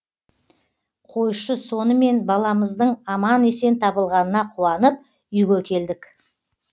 қойшы сонымен баламыздың аман есен табылғанына қуанып үйге келдік